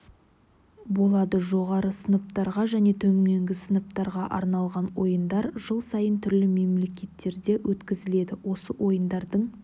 болады жоғары сыныптарға және төменгі сыныптарға арналған ойындар жыл сайын түрлі мемлекеттерде өткізіледі осы ойындардың